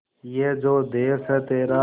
ये जो देस है तेरा